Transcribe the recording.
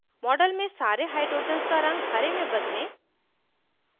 model में सारे hydrogens का रंग हरे में बदलें